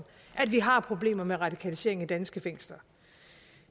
at vi har problemer med radikalisering i danske fængsler